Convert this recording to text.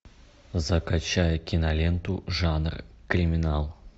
закачай киноленту жанр криминал